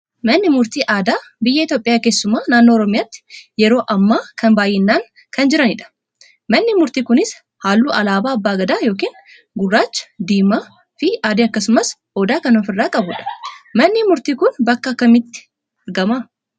Manni murtii aadaa biyya Itoophiyaa keessumaa naannoo Oromiyaatti yeroo ammaa kana baay'inaan kan jiranidha. Manni murtii kunis halluu alaabaa Abbaa Gadaa yookiin gurraacha, diimaa fi adii akkasumas Odaa kan ofirraa qabudha. manni murtii kun bakka kamitti argama?